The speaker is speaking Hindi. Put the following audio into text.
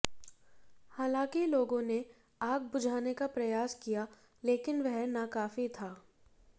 हालांकि लोगों ने आग बुझाने का प्रयास किया लेकिन वह नाकाफी था